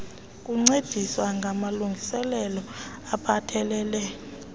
kuncedisa ngamalungiselelo aphathelele